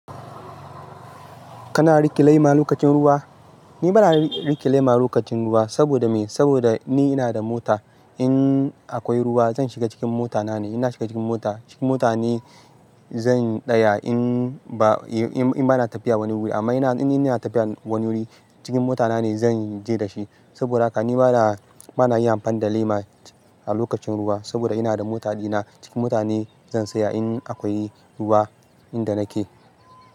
Kana riƙe lema lokacin ruwa? Ni bana riƙe lema lokacin ruwa. Saboda me? Saboda ni ina da mota. In akwai ruwa zan shiga cikin mota na ne. Ina shiga cikin mota. Cikin mota ne zan tsaya in ba, in bana tafiya wani wuri. Amma in ina tafiya wani wuri, cikin mota na ne zan je da shi. Saboda haka ni bana, bana yin amfani da lema a lokacin ruwa saboda ina da mota dina. Cikin mota ne zan tsaya in akwai ruwa inda nake.